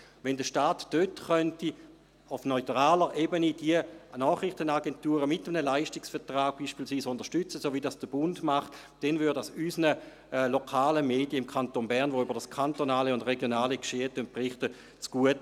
Wenn der Staat dort, auf neutraler Ebene, diese Nachrichtenagenturen, beispielsweise mit einem Leistungsvertrag, unterstützen könnte, so wie es der Bund tut, käme dies unseren lokalen Medien im Kanton, welche über das kantonale und regionale Geschehen berichten, zugute.